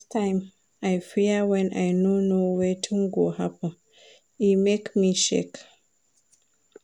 Last time, I fear wen I no know wetin go happen, e make me shake.